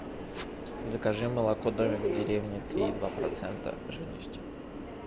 закажи молоко домик в деревне три и два процента жирности